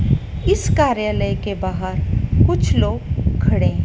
इस कार्यालय के बाहर कुछ लोग खड़े हैं।